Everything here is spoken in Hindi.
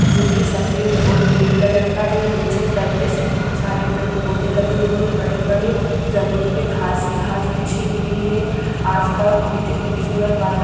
जो के सफेद और नीले कलर का हैं नीचे उतरते से बहोत सारे पेड़-पौधे लगे हुए हैं बड़े-बड़े जमीन पर घास ही घास बिछी हुई हैं आसपास बहुत ही खूबसूरत वाता--